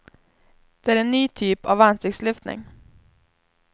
Det är en ny typ av ansiktslyftning.